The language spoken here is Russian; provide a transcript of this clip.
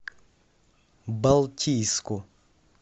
балтийску